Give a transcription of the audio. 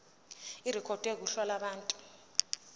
irekhodwe kuhla lwabantu